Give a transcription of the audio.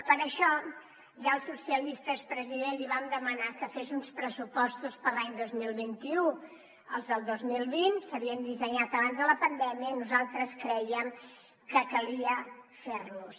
per això ja els socialistes president li vam demanar que fes uns pressupostos per a l’any dos mil vint u els del dos mil vint s’havien dissenyat abans de la pandèmia i nosaltres crèiem que calia fer los